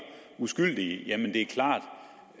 uskyldige